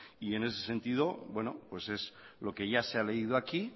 en ese sentido es lo que ya se ha leído aquí